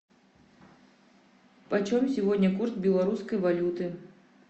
почем сегодня курс белорусской валюты